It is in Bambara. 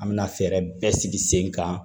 An bɛna fɛɛrɛ bɛɛ sigi sen kan